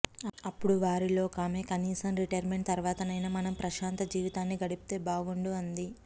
అప్పుడు వారిలో ఒకామె కనీసం రిటర్మెంట్ తర్వాతనైనా మనం ప్రశాంత జీవితాన్ని గడిపితే బాగుండు అంది